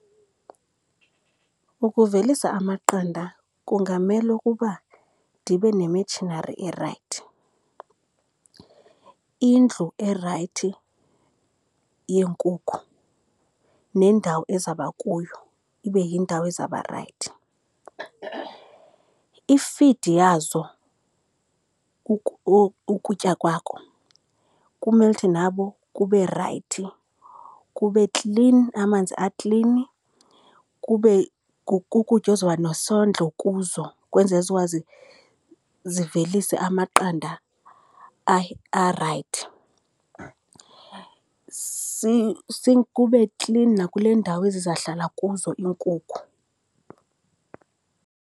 Ukuvelisa amaqanda kungamele ukuba ndibe ne-machinery erayithi, indlu erayithi yeenkukhu nendawo ezaba kuyo ibe yindawo ezaba rayithi. I-feed yazo, ukutya kwakho kumele uthi nabo kube rayithi kube klini, amanzi aklini, kube kukutya ozoba nosondlo kuzo ukwenzela zikwazi zivelise amaqanda rayithi. Kube klini nakule ndawo ezizahlala kuzo iinkukhu.